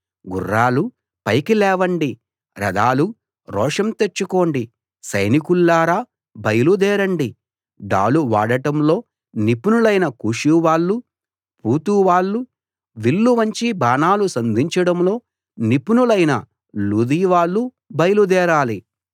గుర్రాలూ పైకి లేవండి రథాలూ రోషం తెచ్చుకోండి సైనికుల్లారా బయలుదేరండి డాలు వాడటంలో నిపుణులైన కూషు వాళ్ళూ పూతు వాళ్ళూ విల్లు వంచి బాణాలు సంధించడంలో నిపుణులైన లూదీ వాళ్ళూ బయలుదేరాలి